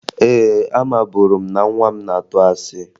Ee, amaburu m na nwa m na-atụ asị